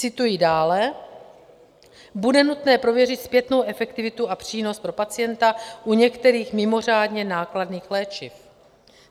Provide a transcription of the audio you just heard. Cituji dále: Bude nutné prověřit zpětnou efektivitu a přínos pro pacienta u některých mimořádně nákladných léčiv.